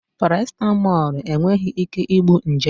Parasịtamọlụ enweghị ike igbu nje